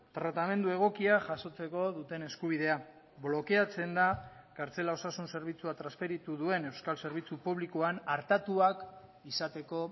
tratamendu egokia jasotzeko duten eskubidea blokeatzen da kartzela osasun zerbitzua transferitu duen euskal zerbitzu publikoan artatuak izateko